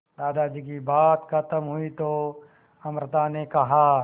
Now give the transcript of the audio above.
दादाजी की बात खत्म हुई तो अमृता ने कहा